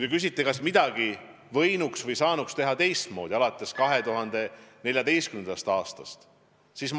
Te küsite, kas midagi võinuks või saanuks alates 2014. aastast teisiti teha.